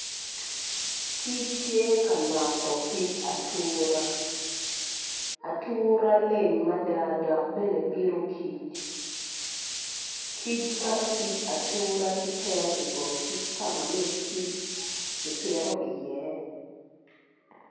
Kic tye ka noto big atura atura leng mada dok bene bito kic kic noto pig atura ci tero ibong kic ka ma min kic kipito iye